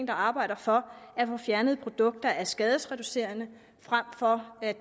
arbejder for at få fjernet produkter der er skadesreducerende frem for at